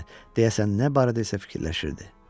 Deyəsən nə barədə isə fikirləşirdi.